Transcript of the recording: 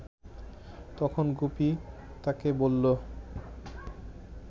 তখন গুপি তাকে বলল